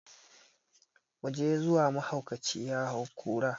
Muje zuwa mahaukaci ya hau kura!